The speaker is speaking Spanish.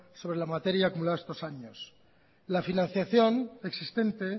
sobre la materia acumulada estos años la financiación existente